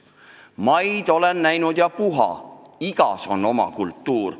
Maid olen näinud ja puha, igas on oma kultuur.